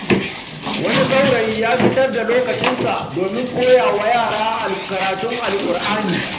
Wani saurayi ya fitar da lokacinsa don koya wa yara karatun Alƙur’ani.